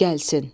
Gəlsin.